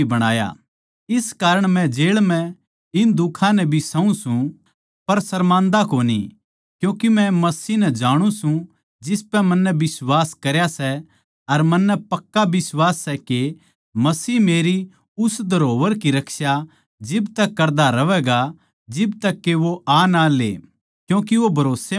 इस कारण मै जेळ म्ह इन दुखां नै भी सहूँ सूं पर सरमान्दा कोनी क्यूँके मै मसीह नै जाणु सूं जिसपै मन्नै बिश्वास करया सै अर मन्नै पक्का यकीन सै के मसीह मेरी उस धरोहर की रक्षा जिब तक करता रहवैगा जिब तक के वो आ ना ले क्यूँके वो भरोस्सेमंद सै